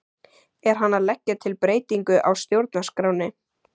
Er hann að leggja til breytingu á stjórnarskránni?